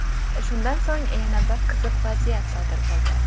Shundan so‘ng yana bir qiziq vaziyat sodir bo‘ldi.